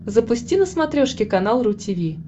запусти на смотрешке канал ру ти ви